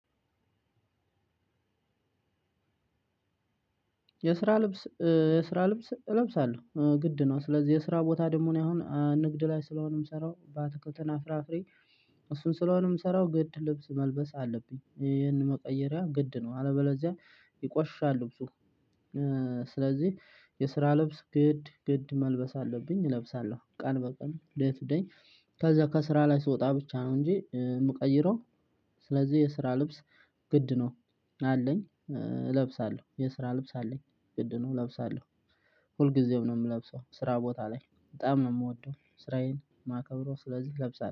የስራ ልብስ እ የስራ ልብስ እለብሳለው ግድ ነው ስለዚህ የስራ ቦታ ደሞ እኔ አሁን ንግድ ለይ ስለሆነ የምሰራው በአትክልት እና ፍራፍሬ። እሱን ስለሆነ ምሰራው ግድ ልብስ መልበስ አለብኝ ይሄን መቀየሪያ አለበለዚያ ይቆሽሻል ልብሱ። ስለዚህ የ ስራ ልብስ ግድ ግድ መልበስ አለብኝ እለብሳለው ቀን በቀን ዴይ ቱዴይ። ከዛ ከስራ ላይ ስወጣ ብቻ ነው እንጂ የምቀይረው። ስለዚህ የስራ ልብስ ግድ ነው። አለኝ እለብሳለሁ የስራ ልብስ አለኝ ግድ ነው እለብሳለሁ። ሁልጊዜም ነው የምለብሰው ስራ ቦታ ላይ በጣም ነው የምወደው ስራዬን ማከብረው ስለዚህ ለብሳለሁ